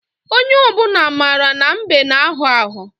Onye obuna mara na mbe n agho agho.